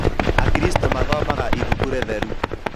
Akristiano mathomaga ibuku ritheru.